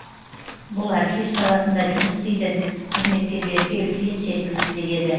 бұл архив саласында жұмыс істейтін қызметкерлерге үлкен серпіліс береді